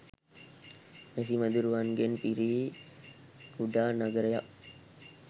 මැසි මදුරුවන්ගෙන් පිරි කුඩා නගරයක්